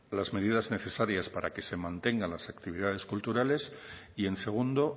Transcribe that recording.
las medidas necesarias para que se mantengan las actividades culturales y en segundo